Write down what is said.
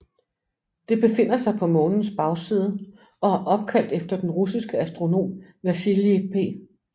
Det befinder sig på Månens bagside og er opkaldt efter den russiske astronom Vasilij P